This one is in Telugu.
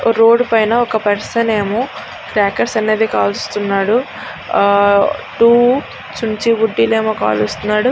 రోడ్ పైన ఒక పర్సన్ ఏమో క్రాకెర్స్ అనేవి కాలుస్తున్నాడు ఆ టూ చించు బుడ్డీలు ఏమో కాలుస్తున్నాడు.